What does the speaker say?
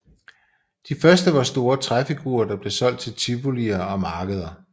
De første var store træfigurer der blev solgt til tivolier og markeder